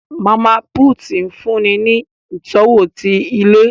Mama put nfunni ní itọwo ti ilé